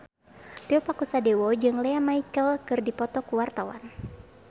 Tio Pakusadewo jeung Lea Michele keur dipoto ku wartawan